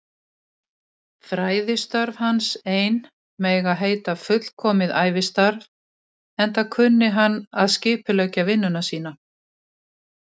Fræðistörf hans ein mega heita fullkomið ævistarf, enda kunni hann að skipuleggja vinnu sína.